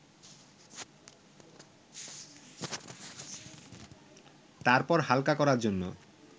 তারপর হালকা করার জন্য